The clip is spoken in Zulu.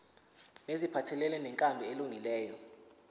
neziphathelene nenkambo elungileyo